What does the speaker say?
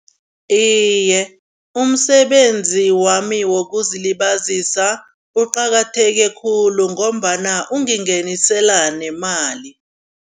Iye, umsebenzi wami wokuzilibazisa uqakatheke khulu ngombana ungingenisela nemali.